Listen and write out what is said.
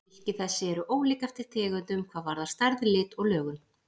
Hylki þessi eru ólík eftir tegundum hvað varðar stærð, lit og lögun.